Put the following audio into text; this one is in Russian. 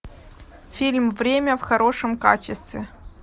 фильм время в хорошем качестве